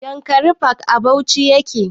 Yankari park a bauchi yake